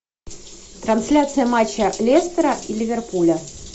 трансляция матча лестера и ливерпуля